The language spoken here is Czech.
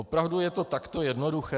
Opravdu je to takto jednoduché?